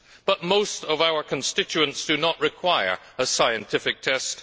But most of our constituents do not require a scientific test.